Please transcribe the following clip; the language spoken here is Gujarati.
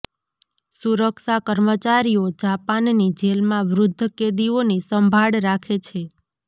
સુરક્ષા કર્મચારીઓ જાપાનની જેલમાં વૃદ્ધ કેદીઓની સંભાળ રાખે છે